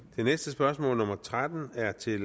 det næste spørgsmål nummer tretten er til